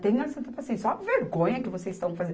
Tenha santa paciência, olha a vergonha que vocês estão fazen